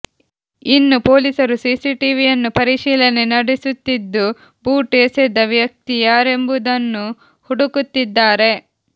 ಇನ್ನು ಪೊಲೀಸರು ಸಿಸಿಟಿವಿಯನ್ನು ಪರಿಶೀಲನೆ ನಡೆಸುತ್ತಿದ್ದು ಬೂಟು ಎಸೆದ ವ್ಯಕ್ತಿ ಯಾರೆಂಬುದನ್ನು ಹುಡುಕಾಡುತ್ತಿದ್ದಾರೆ